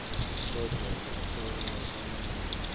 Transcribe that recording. kodvwa bahlolwa banike